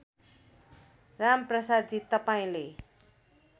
राम प्रसादजी तपाईँले